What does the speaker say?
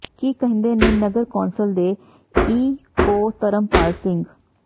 ਕੀ ਕਹਿੰਦੇ ਨੇ ਨਗਰ ਕੌਂਸਲ ਦੇ ਈ ਓ ਧਰਮਪਾਲ ਸਿੰਘ